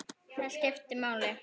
Það skipti máli.